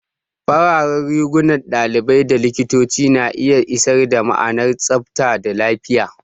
Fararen rigunan ɗalibai da likitoci na iya isar da ma'anar tsabta da lafiya.